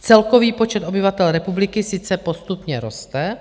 Celkový počet obyvatel republiky sice postupně roste,